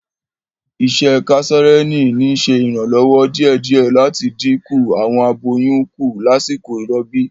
Isẹ kesareani n ṣe iranlọwọ diẹdiẹ lati din iku awọn aboyun ku lasiko irọbi.